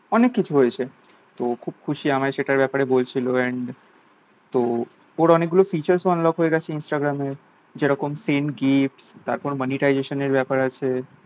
অনেক কিছু হয়েছে তো খুব খুশি আমায় সেটার ব্যাপারে বলছিলো and তো ওর অনেক features unlock হয়ে গেছে instagram এ যেরকম ten k তারপর monetization এর ব্যাপার আছে